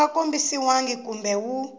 wu nga kombisiwangi kumbe wu